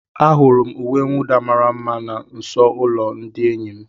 Ahụrụ m uwe mwụda mara mma na nso ụlọ ndị enyi m.